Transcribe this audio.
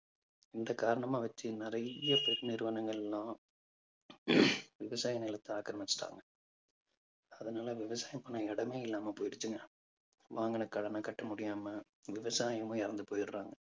இந்த காரணமா வச்சு நிறைய பெருநிறுவனங்கள் எல்லாம் விவசாய நிலத்தை ஆக்கிரமிச்சிட்டாங்க. அதனால விவசாயம் பண்ண இடமே இல்லாம போயிடுச்சுங்க. வாங்குன கடனை கட்ட முடியாம விவசாயமும் இறந்து போயிடுறாங்க